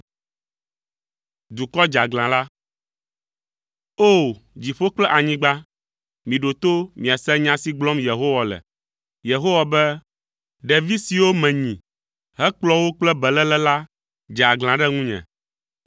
O! Dziƒo kple anyigba, miɖo to miase nya si gblɔm Yehowa le. Yehowa be: “Ɖevi siwo menyi hekplɔ wo kple beléle la dze aglã ɖe ŋunye.